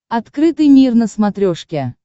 открытый мир на смотрешке